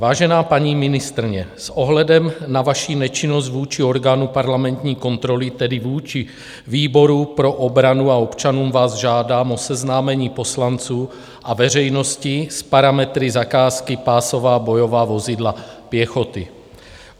Vážená paní ministryně, s ohledem na vaši nečinnost vůči orgánu parlamentní kontroly, tedy vůči výboru pro obranu, a občanům vás žádám o seznámení poslanců a veřejnosti s parametry zakázky pásová bojová vozidla pěchoty.